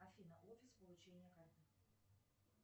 афина офис получения карты